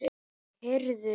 Nei, heyrðu.